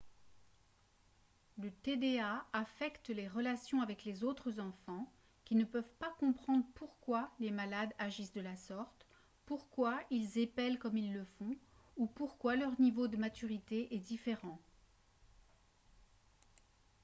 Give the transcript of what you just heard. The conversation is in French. le tda affecte les relations avec les autres enfants qui ne peuvent pas comprendre pourquoi les malades agissent de la sorte pourquoi ils épellent comme ils le font ou pourquoi leur niveau de maturité est différent